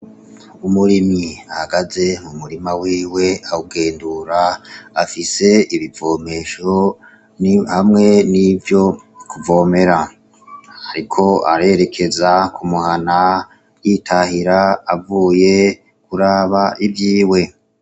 Umurimyi ahagaze mu murima wiwe awugendura, afise ibivomesho hamwe n'ivyo kuvomera. Ariko arerekeza ku muhana yitahira avuye kuraba ivyiwe.